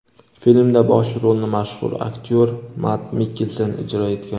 Filmda bosh rolni mashhur aktyor Mad Mikkelsen ijro etgan.